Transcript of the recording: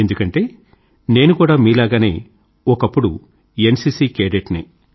ఎందుకంటే నేను కూడా మీలాగనే ఒకప్పుడు ఎన్సీసీ కేడెట్ నే